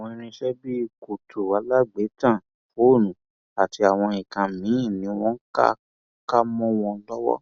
àwọn irinṣẹ bíi kùtù alágbélétan fóònù àti àwọn nǹkan míín ni wọn ká ká mọ wọn lọwọ